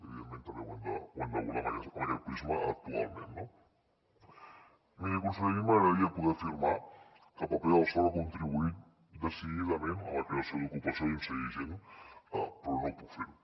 evidentment també ho hem d’abordar amb aquest prisma actualment no miri conseller a mi m’agradaria poder afirmar que el paper del soc ha contribuït decididament a la creació d’ocupació i a inserir gent però no puc fer ho